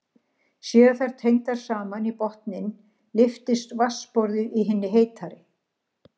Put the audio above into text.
Séu þær tengdar saman í botninn lyftist vatnsborðið í hinni heitari.